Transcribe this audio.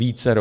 Vícero.